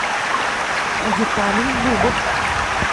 виталий зубов